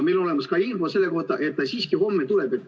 Meil on olemas ka info selle kohta, et homme ta siiski tuleb.